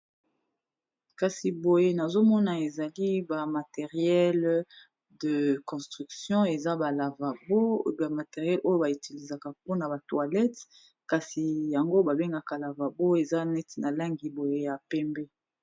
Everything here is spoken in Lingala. Kasi boye nazomona ezali ba materiele de construction, ezaba materiele oyo ba utilizaka mpona ba toilette kasi yango ba bengaka lavabo eza neti na langi boye ya pembe.